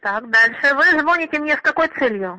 так дальше вы звоните мне с какой целью